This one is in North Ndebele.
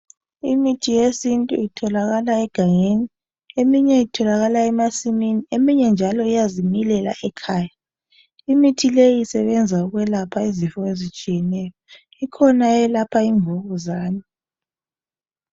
Imithi yesintu itholakala egangeni eminye itholakala emasimini eminye njalo iyazimilela ekhaya imithi leyi isebenza ukwelapha izifo ezitshiyeneyo ikhona eyokwelapha imvukuzani